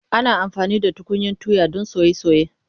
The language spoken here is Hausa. Ana amfani da tukunyan tuya don soye soye.